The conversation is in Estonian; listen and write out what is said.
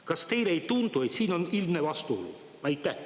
Kas teile ei tundu, et siin on ilmne vastuolu?